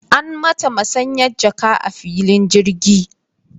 An mata masanyan jaka a filin jirgi.